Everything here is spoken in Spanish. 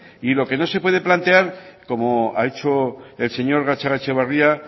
y lo que no se puede plantear como ha hecho el señor gatzagaetxebarria